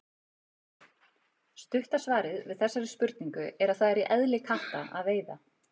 Stutta svarið við þessari spurningu er að það er í eðli katta að veiða.